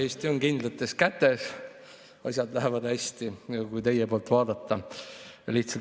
Eesti on kindlates kätes, asjad lähevad hästi, kui teie poolt vaadata.